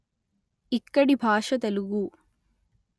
ఇక్కడి భాష తెలుగు